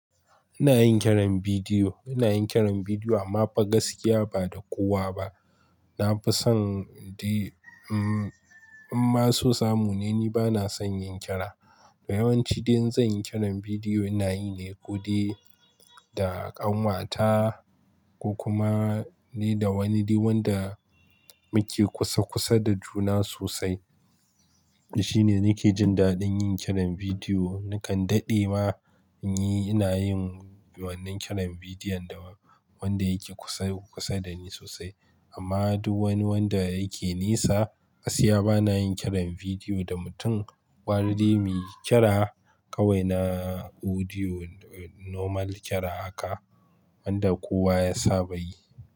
Ina yin kiran bidiyo, ina yin kiran bidiyo amma fa gaskiya ba da kowa ba. Na fi son di-- mm in ma su samu ni, ni ba na son yin kira. Da yawanci dai in zan yi kiran bidiyo, ina yi ne kuɗi da ƙanwata ko kuma ne da wani di wanda muke kusa kusa da juna sosai. Shi ne nake jin daɗin yin kiran bidiyo. Nakan daɗe ma in yi, ina yin wannan kiran bidiyon da wanda yake kusa kusa da ni sosai. Amma duk wani wanda yake nisa, gaskiya ba na yin kiran bidiyo da mutum. Ɓari di muyi kira kawai na audio normal kira haka wanda kowa ya saba yi.